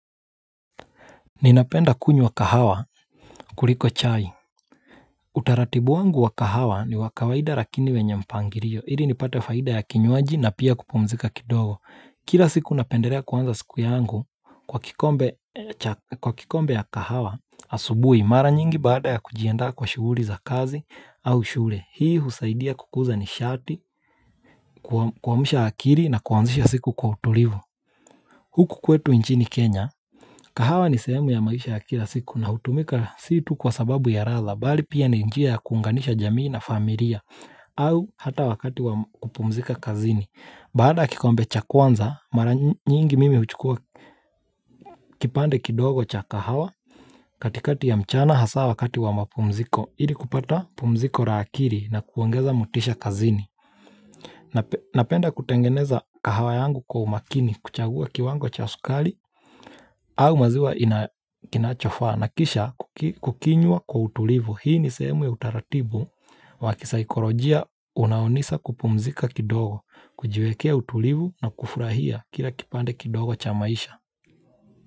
Ninapenda kunywa kahawa kuliko chai. Utaratibu wangu wa kahawa ni wa kawaida lakini wenye mpangilio. Ili nipate faida ya kinywaji na pia kupumzika kidogo. Kila siku napendelea kuanza siku yangu kwa kikombe ya kahawa asubuhi. Mara nyingi baada ya kujianda kwa shughuli za kazi au shule. Hii husaidia kukuza nishati, kuamsha akili na kuanzisha siku kwa utulivu. Huku kwetu nchini Kenya. Kahawa ni sehemu ya maisha ya kila siku na hutumika si tu kwa sababu ya ladha Bali pia ni njia ya kuunganisha jamii na familia au hata wakati wa kupumzika kazini Baada ya kikombe cha kwanza, mara nyingi mimi huchukua kipande kidogo cha kahawa katikati ya mchana hasa wakati wa mapumziko ili kupata pumziko la akili na kuongeza motisha kazini Napenda kutengeneza kahawa yangu kwa umakini kuchagua kiwango cha sukari au maziwa kinachofaa na kisha kukinywa kwa utulivu Hii ni sehemu ya utaratibu wa kisaikolojia unaonisa kupumzika kidogo, kujiwekea utulivu na kufurahia kila kipande kidogo cha maisha.